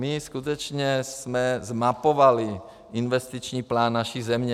My skutečně jsme zmapovali investiční plán naší země.